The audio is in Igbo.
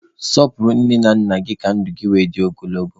Sọpụrụ nne na nna gị ka ndụ gị were dị ogologo.